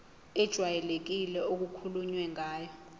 ejwayelekile okukhulunywe ngayo